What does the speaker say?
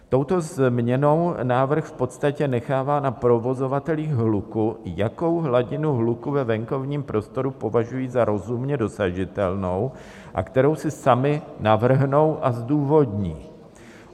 Touto změnou návrh v podstatě nechává na provozovatelích hluku, jakou hladinu hluku ve venkovním prostoru považují za rozumně dosažitelnou a kterou si sami navrhnou a zdůvodní.